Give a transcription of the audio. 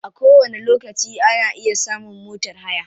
A kowani lokaci ana iya samun motar haya.